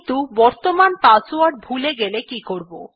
কিন্তু বর্তমান পাসওয়ার্ড ভুলে গেলে কি করব